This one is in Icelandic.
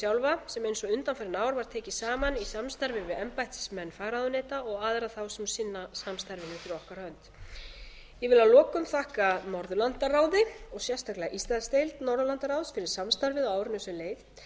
og undanfarin ár var tekin saman í samstarfi við embættismenn fagráðuneyta og aðra þá sem sinna samstarfinu fyrir okkar hönd ég vil að lokum þakka norðurlandaráði og sérstaklega íslandsdeild norðurlandaráðs fyrir samstarfið á árinu sem leið